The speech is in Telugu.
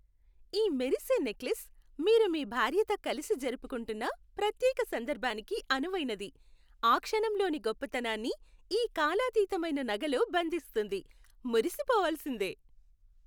ఈ మెరిసే నెక్లెస్ మీరు మీ భార్యతో కలిసి జరుపుకుంటున్న ప్రత్యేక సందర్భానికి అనువైనది, ఆ క్షణంలోని గొప్పతనాన్ని ఈ కాలాతీతమైన నగలో బంధిస్తుంది. మురిసిపోవాల్సిందే!